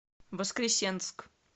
воскресенск